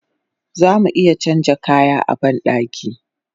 Zamu iya canja kaya a bandaki